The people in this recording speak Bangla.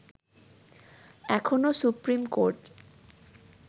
এখনো সুপ্রিম কোর্ট